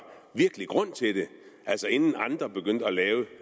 grund til det altså inden andre begyndte at lave